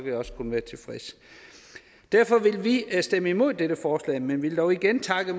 jeg også kun være tilfreds derfor vil vi stemme imod dette forslag men vil dog igen takke